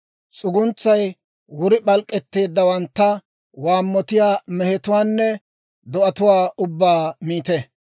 S'uguntsay wuri p'alk'k'etteeddawantta, waammotiyaa mehetuwaanne do'atuwaa ubbaa miite.